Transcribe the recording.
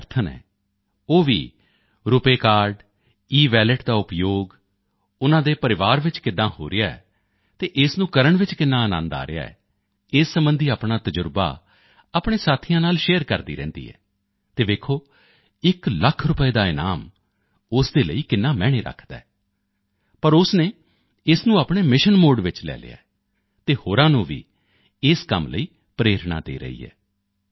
ਦੀ ਵਿਦਿਆਰਥਣ ਹੈ ਉਹ ਵੀ ਰੁਪੇ ਕਾਰਡ ਈਵਾਲਟ ਦਾ ਉਪਯੋਗ ਉਨ੍ਹਾਂ ਦੇ ਪਰਿਵਾਰ ਵਿੱਚ ਕਿਵੇਂ ਹੋ ਰਿਹਾ ਹੈ ਅਤੇ ਇਸ ਨੂੰ ਕਰਨ ਵਿੱਚ ਕਿੰਨਾ ਅਨੰਦ ਆ ਰਿਹਾ ਹੈ ਇਸ ਸਬੰਧੀ ਆਪਣਾ ਤਜ਼ਰਬਾ ਆਪਣੇ ਸਾਥੀਆਂ ਨਾਲ ਸ਼ੇਅਰ ਕਰਦੀ ਰਹਿੰਦੀ ਹੈ ਅਤੇ ਦੇਖੋ ਇਕ ਲੱਖ ਰੁਪਏ ਦਾ ਇਨਾਮ ਉਸ ਦੇ ਲਈ ਕਿੰਨਾ ਅਰਥ ਰੱਖਦਾ ਹੈ ਪਰ ਉਸ ਨੇ ਇਸ ਨੂੰ ਆਪਣੇ ਮਿਸ਼ਨ ਮੋਡੇ ਵਿੱਚ ਲੈ ਲਿਆ ਹੈ ਅਤੇ ਉਹ ਹੋਰਾਂ ਨੂੰ ਵੀ ਇਸ ਕੰਮ ਲਈ ਪ੍ਰੇਰਨਾ ਦੇ ਰਹੀ ਹੈ